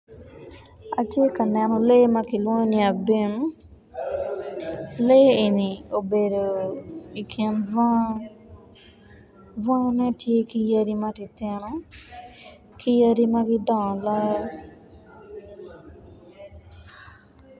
Atye ka neno lee ma kilwongo ni abim lee eni obedo i kin bunga bungane tye ki yadi matinotino ka yadi ma gidongo loyo